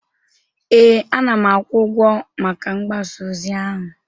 ee, ana m akwụ ụgwọ maka mgbasa ozi ahụ